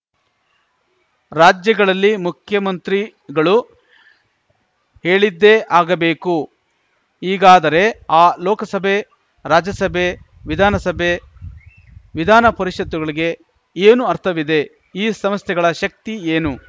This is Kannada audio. ರಾಜ್ಯಗಳಲ್ಲಿ ಮುಖ್ಯಮಂತ್ರಿಗಳು ಹೇಳಿದ್ದೇ ಆಗಬೇಕು ಈಗಾದರೆ ಆ ಲೋಕಸಭೆ ರಾಜ್ಯಸಭೆ ವಿಧಾನಸಭೆ ವಿಧಾನ ಪರಿಷತ್ತುಗಳಿಗೆ ಏನು ಅರ್ಥವಿದೆ ಈ ಸಂಸ್ಥೆಗಳ ಶಕ್ತಿ ಏನು